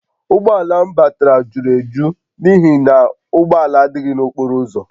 Ụgbọ ala m batara juru eju n’ihi na ụgbọ ala adịghị n’okporo ụzọ